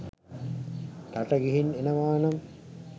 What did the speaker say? රට ගිහින් එනවානම්